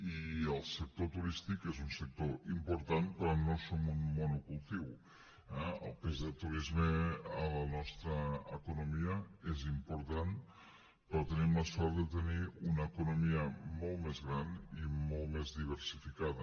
i el sector turístic és un sector important però no som un monocultiu eh el pes del turisme en la nostra economia és important però tenim la sort de tenir una economia molt més gran i molt més diversificada